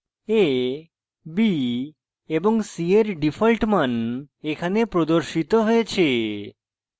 a b এবং c এর default মান এখানে প্রদর্শিত হয়েছে